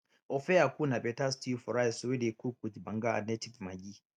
ofe akwu na better stew for rice wey dey cook with banga and native maggi